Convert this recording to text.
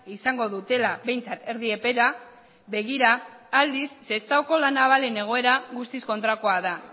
izango dutela behintzat erdi epera begira aldiz sestaoko la navalen egoera guztiz kontrakoa da